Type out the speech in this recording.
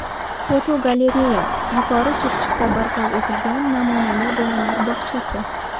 Fotogalereya: Yuqori Chirchiqda barpo etilgan namunali bolalar bog‘chasi.